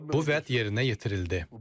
Bu vəd yerinə yetirildi.